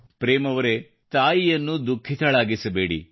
ಪ್ರೇಮ್ ಅವರೆ ತಾಯಿಯನ್ನು ದುಖಿಃತಳಾಗಿಸಬೇಡಿ